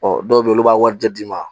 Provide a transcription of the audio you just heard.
Ɔ dɔw bɛ yen olu b'a warijɛ d'i ma